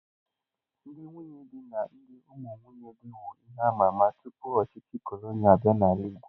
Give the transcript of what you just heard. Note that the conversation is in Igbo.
Ndị nwunye di na ndị ụmụ nwunye dị wu ihe amama tupu ndị ọchịchị cọlọnịa abịa n'ala igbo.